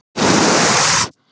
Aha, ég skil hvað þú átt við.